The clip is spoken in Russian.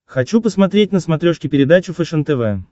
хочу посмотреть на смотрешке передачу фэшен тв